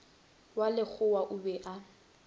wa lekgowa o be a